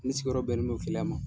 Ni sigiyɔrɔ bɛnnen do Keleya ma.